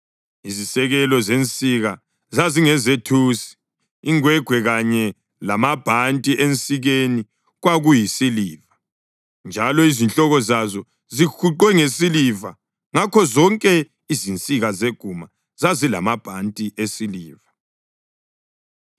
Izisekelo zensika zazingezethusi. Ingwegwe kanye lamabhanti ensikeni kwakuyisiliva, njalo izihloko zazo zihuqwe ngesiliva, ngokunjalo zonke izinsika zeguma zazilamabhanti esiliva, njalo izihloko zazo zihuqwe ngesiliva, ngakho zonke izinsika zeguma zazilamabhanti esiliva.